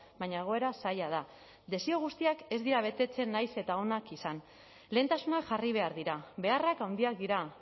baina egoera zaila da desio guztiak ez dira betetzen nahiz eta onak izan lehentasunak jarri behar dira beharrak handiak dira